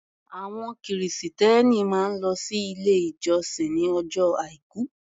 Àwọn Kìrìsìtẹ́ẹ́nì máa ń lọ sí ilé ìjọsìn ní ọjọ́ Àìkú.